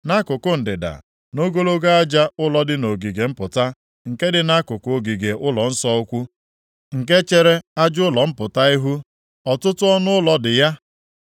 Nʼakụkụ ndịda, nʼogologo aja ụlọ dị nʼogige mpụta, nke dị nʼakụkụ ogige ụlọnsọ ukwu, nke chere aja ụlọ mpụta ihu, ọtụtụ ọnụụlọ dị ya.